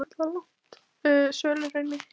Svöluhrauni